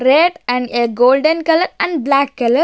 Red and a golden color and black color --